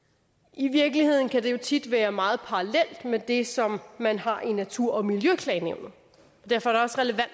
i virkeligheden kan det jo tit være meget parallelt med det som man har i natur og miljøklagenævnet